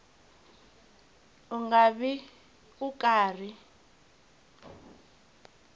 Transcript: u nga vi u karhi